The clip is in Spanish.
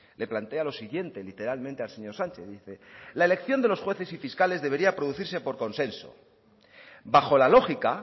le plantea lo siguiente literalmente al señor sánchez dice la elección de los jueces y fiscales debería producirse por consenso bajo la lógica